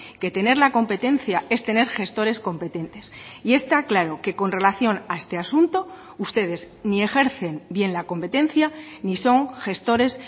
que tener la competencia es tener gestores competentes y está claro que con relación a este asunto ustedes ni ejercen bien la competencia ni son gestores